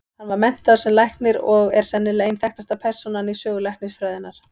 Hann var menntaður sem læknir og er sennilega ein þekktasta persónan í sögu læknisfræðinnar.